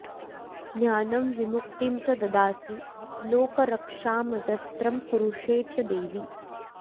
ज्ञानं विमुक्तिं च ददासि लोकरक्षामजस्रं कुरुषे च देवि